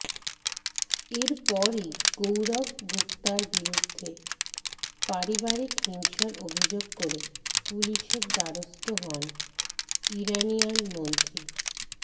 এরপরই গৌরব গুপ্তার বিরুদ্ধে পারিবারিক হিংসার অভিযোগ করে পুলিসের দ্বারস্থ হন ইরানিয়ান মন্ত্রী